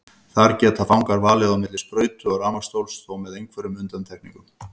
Þar geta fangar valið á milli sprautu og rafmagnsstóls, þó með einhverjum undantekningum.